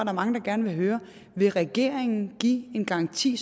er mange der gerne vil høre vil regeringen give en garanti